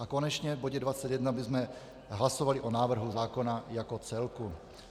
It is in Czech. A konečně v bodě 21 bychom hlasovali o návrhu zákona jako celku.